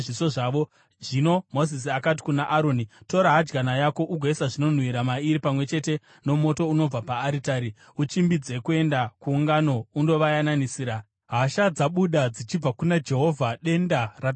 Zvino Mozisi akati kuna Aroni, “Tora hadyana yako ugoisa zvinonhuhwira mairi pamwe chete nomoto unobva paaritari, uchimbidze kuenda kuungano undovayananisira. Hasha dzabuda dzichibva kuna Jehovha; denda ratotanga.”